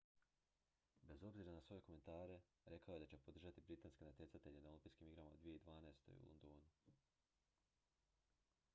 bez obzira na svoje komentare rekao je da će podržati britanske natjecatelje na olimpijskim igrama 2012. u londonu